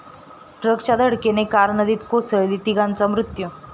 ट्रकच्या धडकेनं कार नदीत कोसळली, तिघांचा मृत्यू